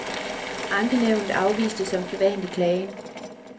Ankenævnet afviste som sædvanlig klagen.